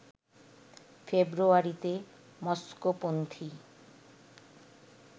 ফেব্রুয়ারিতে মস্কোপন্থি